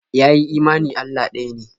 Ya yi imani Allah ɗaya ne.